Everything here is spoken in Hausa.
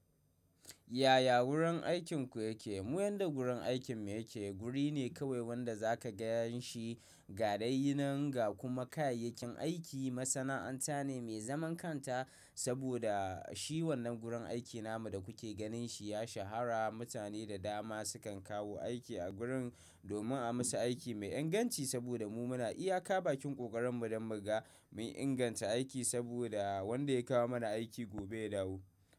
Yaya wurin aikinku yake? Mu yanda gurin aikin mu yake. Guri ne kawai wanda za ka gan shi gadai yi nan ga kuma kayayyakin aiki. Masana'anta ne mai zaman kanta saboda shi wannan gurin aiki namu da kuke ganin shi ya sha hara. Mutane da dama su kan kawo aiki a gurin domin a musu aiki mai inganci saboda mu muna iya ka bakin ƙoƙarin mu don mu ga mu inganta aiki saboda wanda ya kawo mana aiki gobe ya dawo.